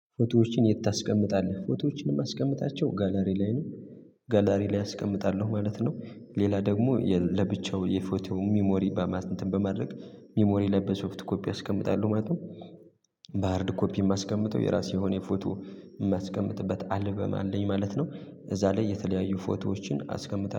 ፎቶዎችን የት ታስቀምጣለህ ፎቶዎችንም አስቀምጣቸው ጋላሪ ላይ ነው? ጋላሪ ላይ አስቀምጣለሁ ማለት ነው። ሌላ ደግሞ ለብቻው የፎቶ ሚሞሪ በማለት እንትን በማድረግ ሚሞሪ ለበሶፍት ኮፒ አስቀምጣለሁ ማለት። ነው ኮፒ የማስቀምጠው የራሴ የሆነ ፎቶ የማስቀምጥበት አልቤም አለኝ ማለት ነው። እዛ ላይ የተለያዩ ፎቶዎችን አስቀምጣለው